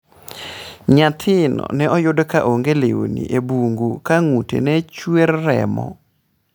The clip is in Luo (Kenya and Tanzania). Nyathino ne oyudo ka onge lewni e bungu ka ng'ute ne chwer remo.